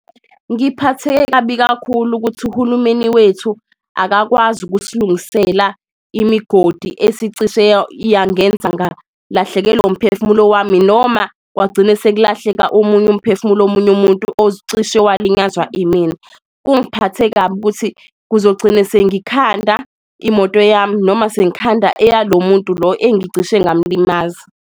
Ngiphatheke kabi kakhulu ukuthi uhulumeni wethu akakwazi ukusilungisela imigodi esicishe yangenza ngalahlekelwa umphefumulo wami. Noma kwagcine sekulahleka omunye umphefumulo womunye umuntu ocishe yalinyazwa imina, kungiphatha kabi ukuthi kuzogcine sengikhanda imoto yami noma sengikhanda eyalo muntu lo engicishe ngamlimaza.